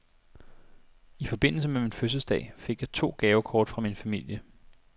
I forbindelse med min fødselsdag fik jeg to gavekort fra min familie.